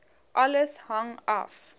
alles hang af